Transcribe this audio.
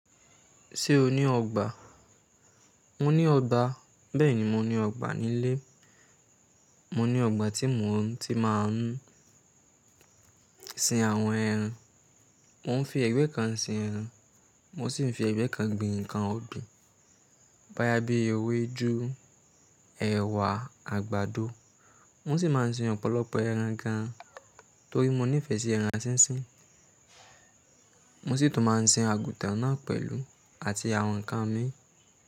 Ṣé o ní ọgbà? Mo ní ọgbà. Bẹ́ẹ̀ni, mo ní ọgbà nílé. Mo ní ọgbà tí mo ti máa ń sin àwọn ẹran. Mo ń fi ẹgbẹ́ kan sin ẹran, mo sì ń fi ẹgbẹ́ kan gbin ǹkan ọ̀gbìn. Bóyá bi ewédú, ẹ̀wà, àgbàdo. Mo sì máa ń sin ọ̀pọ̀lọpọ̀ ẹran gan, torí mo nífẹ̀ẹ́ sí ẹran sísín. Mo sì tún máa ń sin àgùtàn náà pẹ̀lú àti àwọn ǹkan mi.